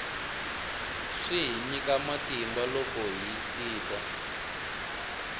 swi hi nyika matimba loko hi sidya